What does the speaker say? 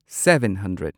seven hundred